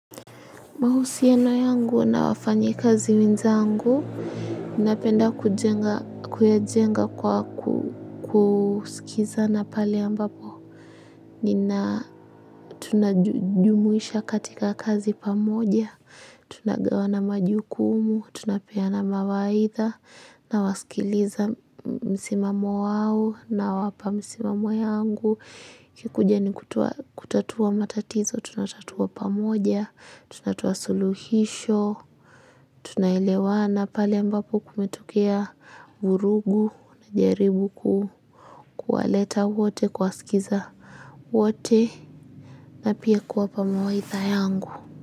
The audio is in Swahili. Mahusiano yangu na wafanyikazi wenzangu, ninapenda kujenga, kuyajenga kwa kusikiza na pale ambapo. Nina tunajumuisha katika kazi pamoja. Tunagawana majukumu, tunapeana mawaidha, nawasikiliza msimamo wao nawapa msimamo yangu. Ikikuja ni kutatua matatizo, tunatatua pamoja, tunatoa suluhisho, tunaelewana pale ambapo kumetokea vurugu najaribu kuwaleta wote kuwasikiza wote na pia kuwapa mawaidha yangu.